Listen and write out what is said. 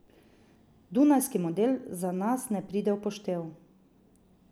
Dunajski model za nas ne pride v poštev.